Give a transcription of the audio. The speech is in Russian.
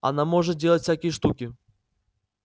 она может делать всякие штуки